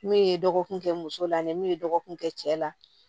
Ne ye dɔgɔkun kɛ muso la ne min ye dɔgɔkun kɛ cɛ la